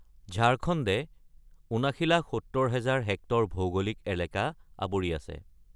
ঝাৰখণ্ডে ৭৯,৭০,০০০ হেক্টৰ ভৌগোলিক এলেকা আৱৰি আছে।